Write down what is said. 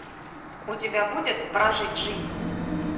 у тебя будет прожить жизнь